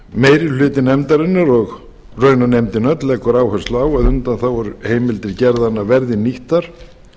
meiri hluti nefndarinnar og raunar nefndin öll leggur áherslu á að undanþáguheimildir gerðanna verði nýttar